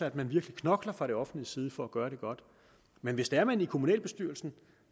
at man virkelig knokler fra det offentliges side for at gøre det godt men hvis det er at man i kommunalbestyrelsen